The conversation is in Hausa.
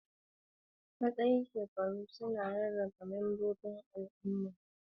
Matsayin shekaru suna rarraba membobin al'umma zuwa rukuni bisa ga abubuwan da suka saba da su da ayyukansu.